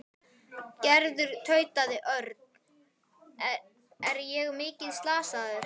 Gerður tautaði Örn. Er ég mikið slasaður?